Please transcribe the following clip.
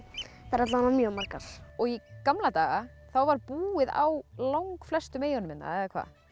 eru alla vega mjög margar í gamla daga var búið á langflestum eyjunum hérna